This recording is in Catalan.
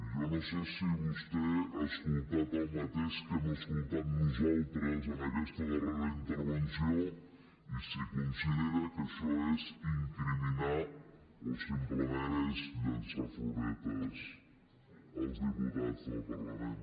jo no sé si vostè ha escoltat el mateix que hem escoltat nosaltres en aquesta darrera intervenció i si considera que això és incriminar o simplement és llençar floretes als diputats del parlament